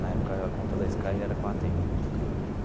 Na época, a conta da Sky era com a Atento.